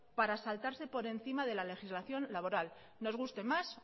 para saltarse por encima de la legislación laboral nos guste más